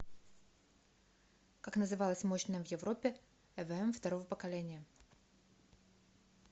как называлась мощная в европе эвм второго поколения